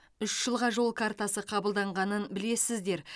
үш жылға жол картасы қабылданғанын білесіздер